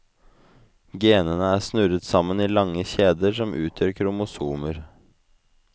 Genene er snurret sammen i lange kjeder som utgjør kromosomer.